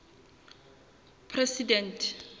president